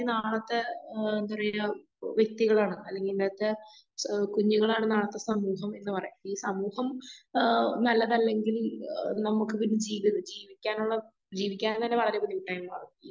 നാളത്തെ ഏഹ് എന്താ പറയാ വ്യക്തികളാണ്. അല്ലെങ്കിൽ ഇന്നത്തെ കുഞ്ഞുങ്ങളാണ് നാളത്തെ സമൂഹം എന്ന് പറയാ. ഈ സമൂഹം ആ നല്ലതല്ലെങ്കിൽ ഏഹ് നമുക്ക് പിന്നെ ജീവിക്കാനുള്ള ജീവിക്കാൻ തന്നെ വളരെ ബുദ്ധിമുട്ടായി മാറും.